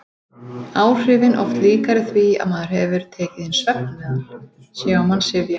Áhrifin oft líkari því að maður hefði tekið inn svefnmeðal: sé á mann syfja.